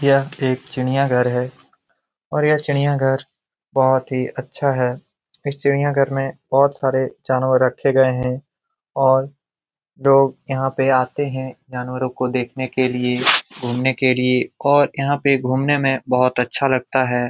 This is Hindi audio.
यह एक चिड़ियाघर है और यह चिड़िया घर बोहोत ही अच्छा है इस चिड़िया घर में बोहोत सारे जानवर रखे गए है और लोग यहां पे आते हैं जानवरों को देखने के लिए घूमने के लिए और यहां पे घूमने में बहुत अच्छा लगता है।